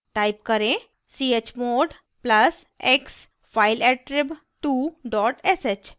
type करें chmod plus x fileattrib2 dot sh